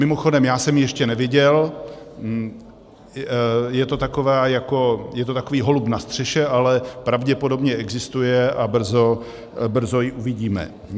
Mimochodem, já jsem ji ještě neviděl, je to takový holub na střeše, ale pravděpodobně existuje a brzo ji uvidíme.